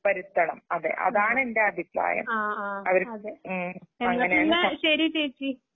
വരുത്തണം. അതെ. അതാണ് എന്റഭിപ്രായം. അവര്. ഉം.അങ്ങനെയങ്ങ് കുറച്.